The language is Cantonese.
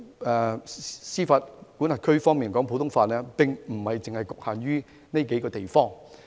其實，普通法的司法管轄區並不只局限於上述數個地方。